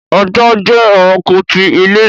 ajá jẹ́ ẹrạnko ti ilé